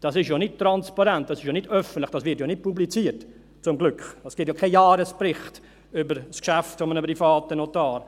– Das ist ja nicht transparent, das ist ja nicht öffentlich, das wird ja zum Glück nicht publiziert, es gibt ja keinen Jahresbericht über das Geschäft eines privaten Notars.